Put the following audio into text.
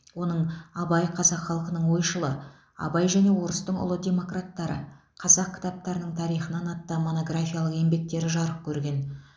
оның абай қазақ халқының ойшылы абай және орыстың ұлы демократтары қазақ кітаптарының тарихынан атты монографиялық еңбектері жарық көрген